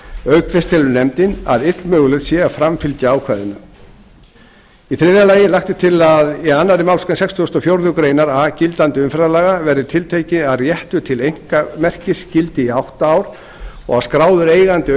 auk þess telur nefndin að illmögulegt yrði að framfylgja ákvæðinu þriðja lagt er til að í annarri málsgrein sextugustu og fjórðu grein a gildandi umferðarlaga verði tiltekið að réttur til einkamerkis gildi í átta ár og að skráður eigandi